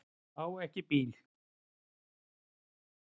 Á ekki bíl.